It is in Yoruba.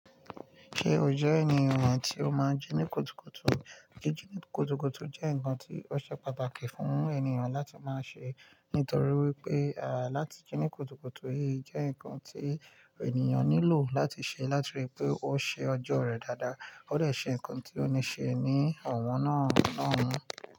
Kí ò jẹ́ ènìyàn tí ó máa ń jí ní kùtùkùtù. Kí jí ní kùtùkùtù jẹ́ ǹkan tí ó ṣe pàtàkì fún ènìyàn láti máa ṣe. Nítorí wípé láti jí ní kùtùkùtù yí jẹ́ ǹkan tí ènìyàn nílò láti ṣe láti rí i pé ó ṣe ọjọ́ rẹ̀ dáadáa. Ó dẹ̀ ṣe nǹkan tí ó ní ṣe ní ọ̀wọ́n náà.